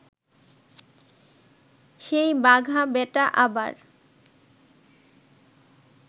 সেই বাঘা বেটা আবার